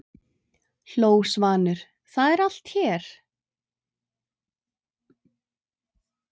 hló Svanur, það er allt hér!